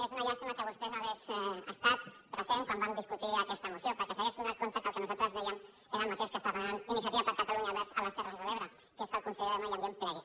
és una llàstima que vostè no hi fos present quan vam discutir aquesta moció perquè s’hauria adonat que el nosaltres dèiem era el mateix que està demanant iniciativa per catalunya verds a les terres de l’ebre que és que el conseller de medi ambient plegui